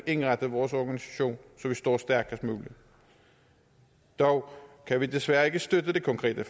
indrette vores organisation så vi står stærkest muligt dog kan vi desværre ikke støtte det konkrete